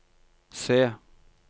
C